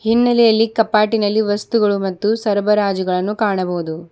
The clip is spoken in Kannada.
ಇನ್ನಲೇ ಯಲ್ಲಿ ಕಪಾಟಿನಲ್ಲಿ ವಸ್ತುಗಳು ಮತ್ತು ಸರಬರಾಜುಗಳನ್ನು ಕಾಣಬಹುದು.